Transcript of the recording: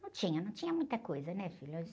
Não tinha, não tinha muita coisa, né, filho?